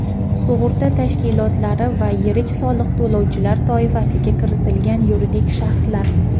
sug‘urta tashkilotlari va yirik soliq to‘lovchilar toifasiga kiritilgan yuridik shaxslar:.